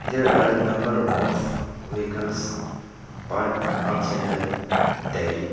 there are number of vehicles parked outside the dairy.